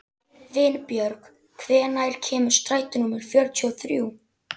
Vinbjörg, hvenær kemur strætó númer fjörutíu og þrjú?